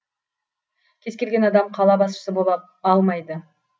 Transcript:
кез келген адам қала басшысы бола алмайды